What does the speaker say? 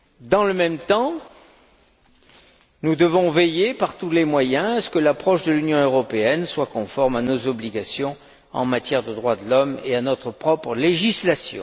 Dans le même temps, nous devons veiller, par tous les moyens, à ce que l'approche de l'Union européenne soit conforme à nos obligations en matière de droits de l'homme et à notre propre législation.